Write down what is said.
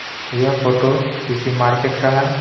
यह फोटो किसी मार्केट का है.